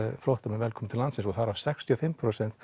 flóttamenn velkomna til landsins og þar af sextíu og fimm prósent